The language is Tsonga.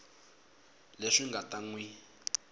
leswi nga ta n wi